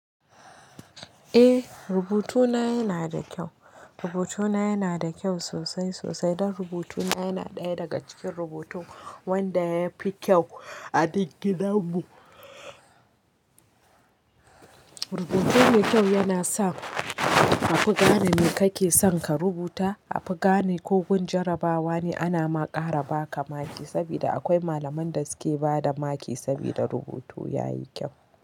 Eh, rubutuna yana da kyau. Rubutuna yana da kyau sosai sosai dan rubutuna yana ɗaya daga cikin rubutu wanda yafi kyau a duk gidan mu. Rubutu mai kyau yana sa a fi gane me kake son ka rubuta. A fi gane ko gun jarabawa ne ana ma ƙara baka maki sabida akwai malaman da suke bada maki sabida rubutu yayi kyau.